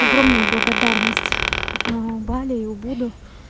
огромная благодарность бали и буду